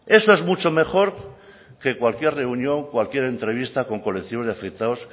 eso es mucho mejor que cualquier reunión cualquier entrevista con colectivos de afectados